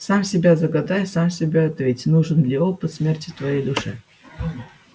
сам себе загадай сам себе ответь нужен ли опыт смерти твоей душе